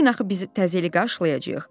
Bugün axı bizi təzə illi qarşılayacağıq.